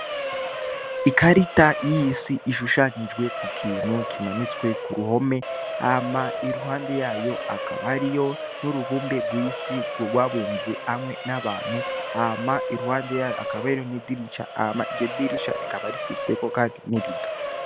Ikarita y'isi ishushanijwe ku kintu kimanitswe ku ruhome hama iruhande yayo hakaba hariyo n'urubumbe w'isi rwabumvye hamwe n'abantu hama iruhande yayo hakaba hariko n'idirisha hama iryo dirisha rikaba rifise n'irido.